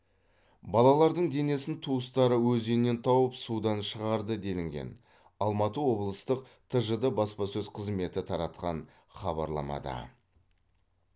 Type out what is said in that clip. балалардың денесін туыстары өзеннен тауып судан шығарды делінген алматы облыстық тжд баспасөз қызметі таратқан хабарламада